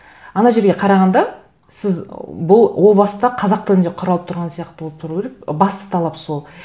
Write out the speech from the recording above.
ана жерге қарағанда сіз бұл о баста қазақ тілінде құралып тұрған сияқты болып тұру керек басты талап сол